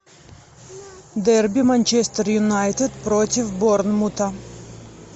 дерби манчестер юнайтед против борнмута